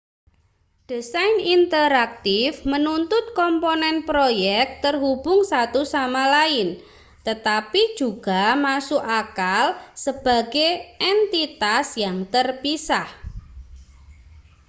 desain interaktif menuntut komponen proyek terhubung satu sama lain tetapi juga masuk akal sebagai entitas yang terpisah